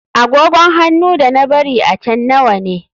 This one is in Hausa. Agogon hannu da na bari a can nawa ne.